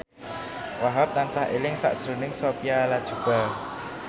Wahhab tansah eling sakjroning Sophia Latjuba